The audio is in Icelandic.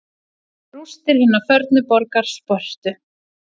Rústir hinnar fornu borgar Spörtu.